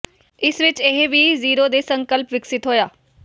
ਇਸ ਵਿਚ ਇਹ ਵੀ ਜ਼ੀਰੋ ਦੇ ਸੰਕਲਪ ਵਿਕਸਿਤ ਹੋਇਆ